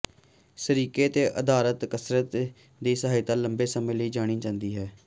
ਸਿਰਕੇ ਤੇ ਆਧਾਰਤ ਕਸਰਤ ਦੀ ਸਹਾਇਤਾ ਲੰਬੇ ਸਮੇਂ ਲਈ ਜਾਣੀ ਜਾਂਦੀ ਹੈ